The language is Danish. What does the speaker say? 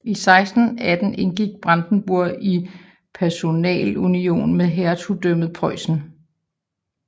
I 1618 indgik Brandenburg i personalunion med Hertugdømmet Preussen